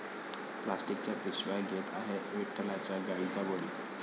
प्लॉस्टिकच्या पिशव्या घेत आहे विठ्ठलाच्या गायींचा बळी!